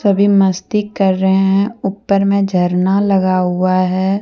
वे मस्ती कर रहे हैंऊपर मे झरना लगा हुआ है।